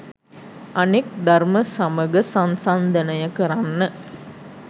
අනෙක් දර්ම සමග සංසන්දනය කරන්න